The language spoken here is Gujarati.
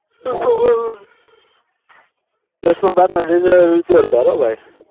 દસમા બારમા નું result જોરદાર હો ભાઈ